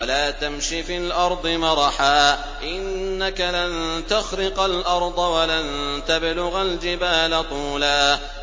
وَلَا تَمْشِ فِي الْأَرْضِ مَرَحًا ۖ إِنَّكَ لَن تَخْرِقَ الْأَرْضَ وَلَن تَبْلُغَ الْجِبَالَ طُولًا